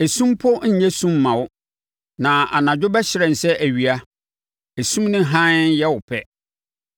esum mpo nnyɛ sum mma wo; na anadwo bɛhyerɛn sɛ awia; esum ne hann yɛ wo pɛ.